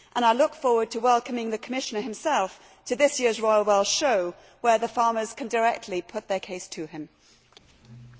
I look forward to welcoming the Commissioner himself to this year's Royal Welsh Show, where the farmers can put their case to him directly.